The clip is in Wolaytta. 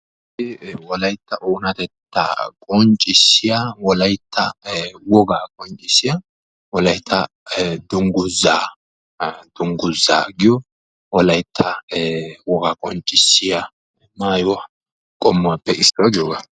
hagee wolaytta oonatettaa qonccisiya wolaytta dungguzaa giyo wolaytta wogaa qoncissiya maayuwa qommuwappe issuwa.